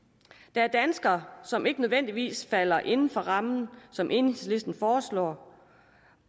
der er danskere som ikke nødvendigvis falder inden for de rammer som enhedslisten foreslår